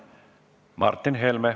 Martin Helme.